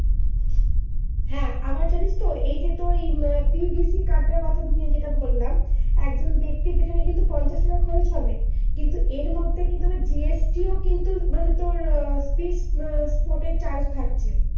হ্যাঁ, আবার জানিস তো এই যে তোর উম PVC card টার কথা যেইটা তোকে বললাম। একজন ব্যক্তির সেখানে কিন্তু পঞ্চাশ-লাখ খচর হবে কিন্তু এর মধ্যে আবার GST ও মানে তোর fixed spot chage থাকছে।